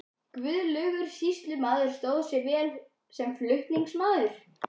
Guðlaugur sýslumaður stóð sig vel sem flutningsmaður.